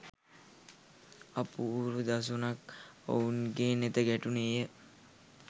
අපූරු දසුනක් ඔවුන්ගේ නෙත ගැටුණේය